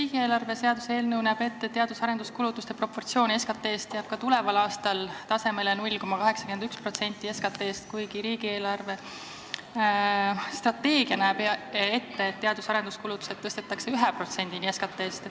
Riigieelarve seaduse eelnõu näeb ette, et teadus- ja arendustegevuse kulutuste proportsioon SKT-st jääb ka tuleval aastal 0,81% tasemele, kuigi riigi eelarvestrateegia järgi tõstetakse need kulutused 1%-ni SKT-st.